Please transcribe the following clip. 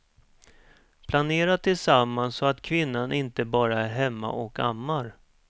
Planera tillsammans så att kvinnan inte bara är hemma och ammar.